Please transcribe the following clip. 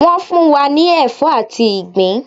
Wọ́n fún wa ní ẹ̀fọ́ àti ìgbín